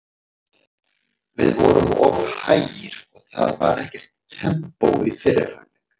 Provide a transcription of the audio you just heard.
Við vorum of hægir og það var ekkert tempó í fyrri hálfleik.